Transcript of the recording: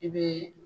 I bɛ